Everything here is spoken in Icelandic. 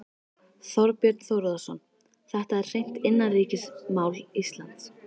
Þorbjörn Þórðarson: Þetta er hreint innanríkismál Íslands?